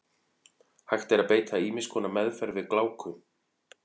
Hægt er að beita ýmiss konar meðferð við gláku.